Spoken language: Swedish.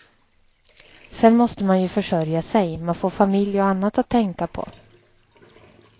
Sen måste man ju försörja sig, man får familj och annat att tänka på.